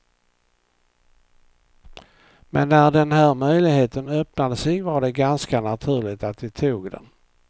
Men när den här möjligheten öppnade sig var det ganska naturligt att vi tog den.